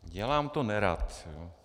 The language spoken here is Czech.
Dělám to nerad.